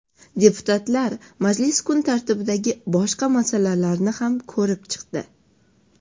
Deputatlar majlis kun tartibidagi boshqa masalalarni ham ko‘rib chiqdi.